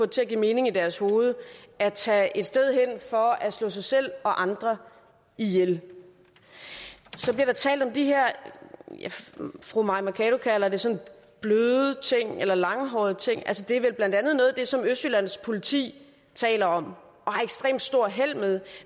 til at give mening i deres hoveder at tage et sted hen for at slå sig selv og andre ihjel så taler fru mai mercado kalder sådan bløde eller langhårede tiltag altså det er vel blandt andet noget af det som østjyllands politi taler om og har ekstremt stort held med